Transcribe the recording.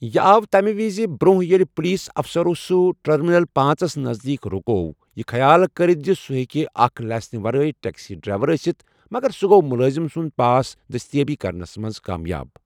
یہِ آو تمہِ وِز برونٛہہ ییلہِ پُلیس اَفسَرو سُہ ٹرمینل پانٛژس نزدیٖک رُکٲو، یہِ خیال کٔرتھ زِ سُہ ہیکہِ اکھ لاسنہِ ورٲے ٹیکسی ڈرائیور أسِتھ، مگر سُہ گوٚو مُلٲزِم سُنٛد پاس دٔستِیٲبی کرنٮس منٛز کامیاب۔